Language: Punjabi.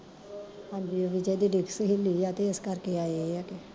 ਹਾਂਜੀ ਓ ਵਿਜੇ ਦੀ ਡਿਕਸ ਹਿੱਲੀ ਆ ਤੇ ਏਸ ਕਰਕੇ ਆਏ ਆ ਕੇ